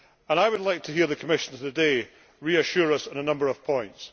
I would like to hear the Commissioner today reassure us on a number of points.